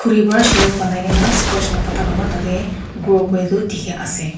etu para shelf bonai kina scort laga patta khan para grow kori tu dekhi ase.